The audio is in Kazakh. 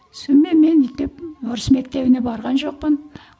сонымен мен орыс мектебіне барған жоқпын